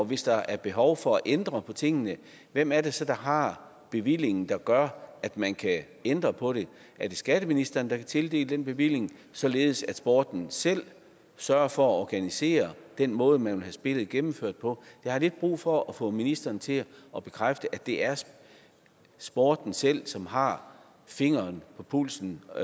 hvis der er behov for at ændre på tingene hvem er det så der har bevillingen der gør at man kan ændre på det er det skatteministeren der kan tildele den bevilling således at sporten selv sørger for at organisere den måde man vil have spillet gennemført på jeg har lidt brug for at få ministeren til at bekræfte at det er sporten selv som har fingeren på pulsen og